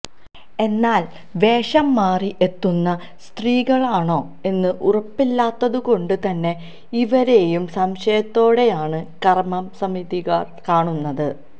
എന്നാൽ വേഷം മാറി എത്തുന്ന സ്ത്രീകളാണോ എന്ന് ഉറപ്പില്ലാത്തതു കൊണ്ട് തന്നെ ഇവരേയും സംശയത്തോടെയാണ് കർമ്മ സമിതിക്കാർ കാണുന്നത്